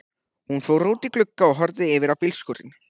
Hún fór út í glugga og horfði yfir á bílskúrinn.